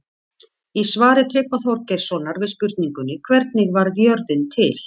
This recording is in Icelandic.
Í svari Tryggva Þorgeirssonar við spurningunni Hvernig varð jörðin til?